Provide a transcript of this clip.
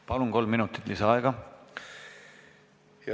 Palun, kolm minutit lisaaega!